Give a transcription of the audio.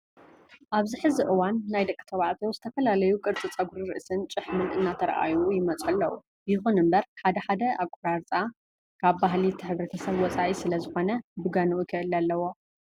ኣብዚ ሕዚ እዋን ናይ ደቂ ተባዕትዮ ዝተፈላለዩ ቁርፂ ፀጉሪ ርእስን ጭሕምን እናተረኣዩ ይመፅኡ ኣለው። ይኹን እምበር ሓደ ሓደ ኣቆራርፃ ካብ ባህሊ እቲ ህብረተሰብ ወፃኢ ስለ ዝኾነ ብገንኡ ክእለ ኣለዎ።